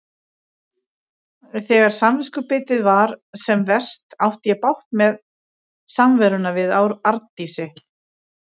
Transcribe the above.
Þegar samviskubitið var sem verst átti ég bágt með samveruna við Arndísi.